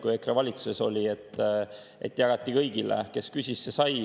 Kui EKRE valitsuses oli, siis jagati kõigile: kes küsis, see sai.